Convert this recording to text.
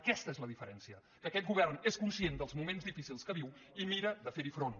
aquesta és la diferència que aquest govern és conscient dels moments difícils que viu i mira de fer hi front